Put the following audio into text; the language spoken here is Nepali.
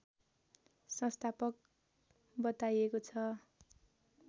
संस्थापक बताइएको छ